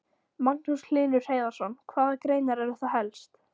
Magnús Hlynur Hreiðarsson: Hvaða greinar eru það helst?